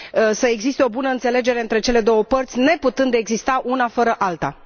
să existe o bună înțelegere între cele două părți, neputând exista una fără alta.